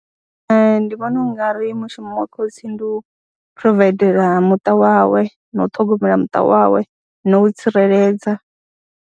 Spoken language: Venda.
Ee, ndi vhona u nga ri mushumo wa khotsi ndi u phurovaidela muṱa wawe na u ṱhogomela muṱa wawe na u tsireledza.